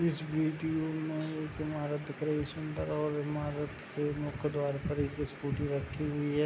इस वीडियो में एक इमारत दिख रही है सुन्दर और इमारत के मुख्य द्वार पर एक स्कूटी रखी हुई है।